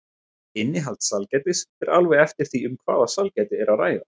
Innihald sælgætis fer alveg eftir því um hvaða sælgæti er að ræða.